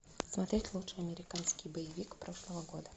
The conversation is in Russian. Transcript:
смотреть лучший американский боевик прошлого года